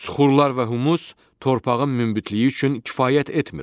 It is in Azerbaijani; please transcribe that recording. Suxurlar və humus torpağın münbütlüyü üçün kifayət etmir.